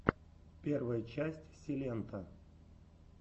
первая часть силенто